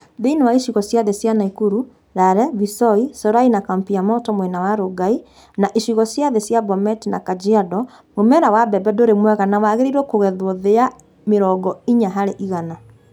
Thĩinĩ wa icigo cia thĩ cia Nakuru (Lare, Visoi, Solai na Kampi ya moto mwena wa Rongai) na icigo cia thĩ cia Bomet na Kajiado, mũmera wa mbembe dũrĩ mwega na wirĩgĩrĩrũo kũgethwo thĩ ya mĩrongo inya harĩ igana.